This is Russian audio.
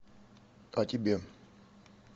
а тебе